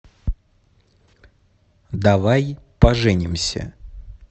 давай поженимся